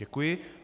Děkuji.